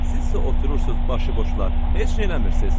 Sizsə oturursunuz başı boşlar, heç nə eləmirsiz.